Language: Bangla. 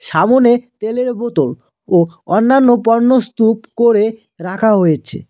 সামনে তেলের বোতল ও অন্যান্য পণ্য স্তুপ করে রাখা হয়েছে।